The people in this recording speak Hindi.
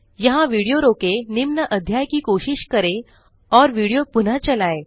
यहाँ विडियो रोकें निम्न अध्याय की कोशिश करें और विडियो पुनः चलाएँ